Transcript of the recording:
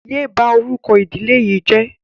Yé bá orúkọ ìdílé yìí jẹ́!